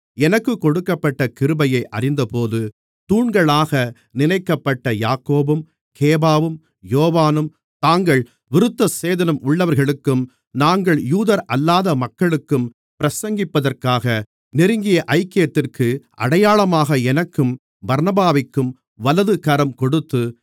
எனக்குக் கொடுக்கப்பட்ட கிருபையை அறிந்தபோது தூண்களாக நினைக்கப்பட்ட யாக்கோபும் கேபாவும் யோவானும் தாங்கள் விருத்தசேதனம் உள்ளவர்களுக்கும் நாங்கள் யூதரல்லாத மக்களுக்கும் பிரசங்கிப்பதற்காக நெருங்கிய ஐக்கியத்திற்கு அடையாளமாக எனக்கும் பர்னபாவிற்கும் வலது கரம் கொடுத்து